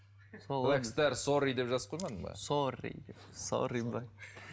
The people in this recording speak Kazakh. блэкстер сорри деп жазып қоймадың ба сорри деп сорри ма